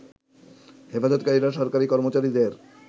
হেফজতকারীরা সরকারি কর্মচারীদের